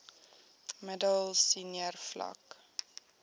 middel senior vlak